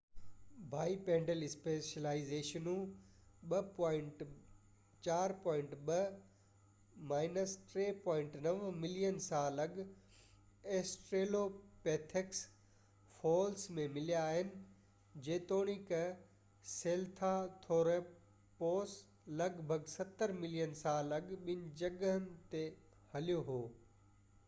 bipedal اسپيشلائيزيشنون 4.2-3.9 million سال اڳ آسٽريلوپيٿيڪس فوسلس ۾ مليا آهن، جيتوڻيڪ سھيلانٿروپوسَ لڳ ڀڳ ستر ملين سال اڳ ٻن جنگهن تي ھليو ھو